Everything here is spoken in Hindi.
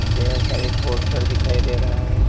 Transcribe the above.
ढेर सारी पोस्टर दिखाई दे रहे हैं।